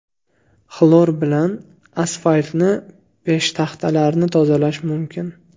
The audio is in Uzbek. Xlor bilan asfaltni, peshtaxtalarni tozalash mumkin.